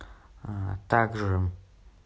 также